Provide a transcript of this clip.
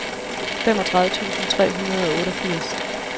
femogtredive tusind tre hundrede og otteogfirs